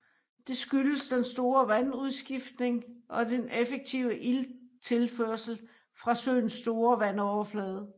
Det skyldes den store vandudskiftning og den effektive ilttilførsel fra søens store vandflade